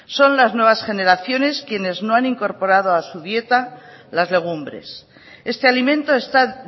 son las nuevas generaciones quienes no han incorporado a su dieta las legumbres este alimento está